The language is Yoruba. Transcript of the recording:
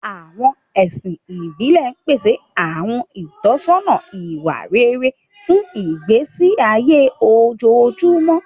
Àwọn ẹ̀sìn ìbílẹ̀ ń pèsè àwọn ìtọ́sọ́nà ìwà rere fún ìgbésí ayé ojoojúmọ́.